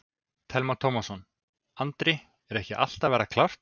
Telma Tómasson: Andri, er ekki allt að verða klárt?